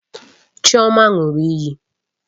Chioma ṅụrụ iyi